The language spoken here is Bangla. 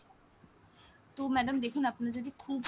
তো madam দেখুন আপনার যদি খুব সমস্যা,